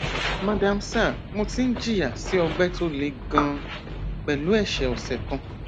madamsir mo ti ń jìyà sí ọgbẹ tó le ganan pẹlú ẹṣẹ ọsẹ kan